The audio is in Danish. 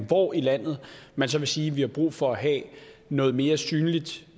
hvor i landet man så vil sige at man har brug for at have noget mere synligt